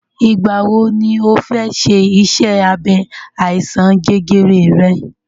Ìgbà wọ ni ọ fẹ ṣe iṣẹ́ abẹ àìsàn jẹjẹrẹ rẹ?